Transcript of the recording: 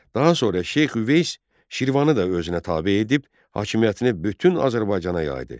Daha sonra Şeyx Üveys Şirvanı da özünə tabe edib, hakimiyyətini bütün Azərbaycana yaydı.